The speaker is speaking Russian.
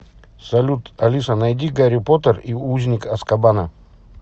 салют алиса найди гарри поттер и узник азкабана